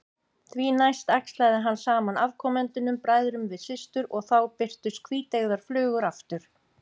Því næst æxlaði hann saman afkomendunum, bræðrum við systur, og þá birtust hvíteygðar flugur aftur.